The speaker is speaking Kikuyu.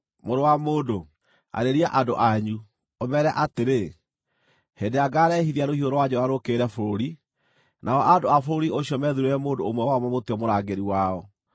“Mũrũ wa mũndũ, arĩria andũ anyu, ũmeere atĩrĩ: ‘Hĩndĩ ĩrĩa ngaarehithia rũhiũ rwa njora rũũkĩrĩre bũrũri, nao andũ a bũrũri ũcio methuurĩre mũndũ ũmwe wao mamũtue mũrangĩri wao,